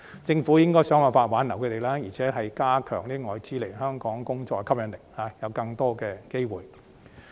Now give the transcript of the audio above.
政府應該想辦法挽留他們，並加強來香港工作對外資的吸引力，以及提供更多機會。